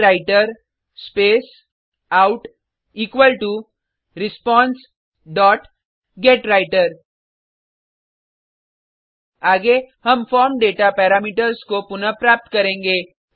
प्रिंटवृतर space out equal to response dot get writer आगे हम form data parameters को पुनः प्राप्त करेंगे